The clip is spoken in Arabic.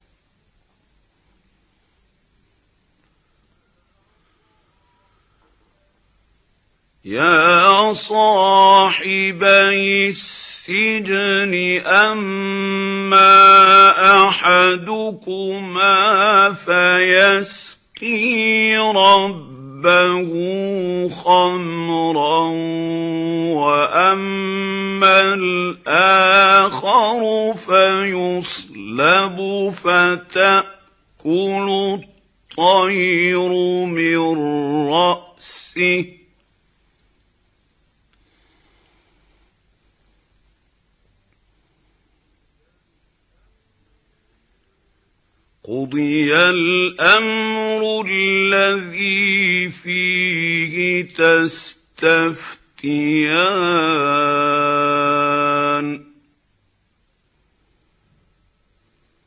يَا صَاحِبَيِ السِّجْنِ أَمَّا أَحَدُكُمَا فَيَسْقِي رَبَّهُ خَمْرًا ۖ وَأَمَّا الْآخَرُ فَيُصْلَبُ فَتَأْكُلُ الطَّيْرُ مِن رَّأْسِهِ ۚ قُضِيَ الْأَمْرُ الَّذِي فِيهِ تَسْتَفْتِيَانِ